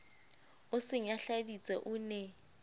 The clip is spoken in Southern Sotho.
o se nyahladitse o ne